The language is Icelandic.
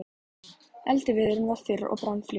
Eldiviðurinn var þurr og brann fljótt.